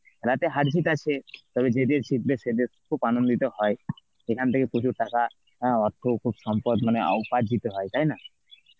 খেলাতে হারজিত আছে, তবে যে দেশ জিতবে সে দেশ খুব আনন্দিত হয় সেখান থেকে প্রচুর টাকা হ্যাঁ অর্থ ও সম্পদ মানে উপার্জিত হয় তাই না?